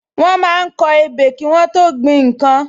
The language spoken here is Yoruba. Wọ́n máa ń kọ ebè kí Wọ́n tó gbin nnkan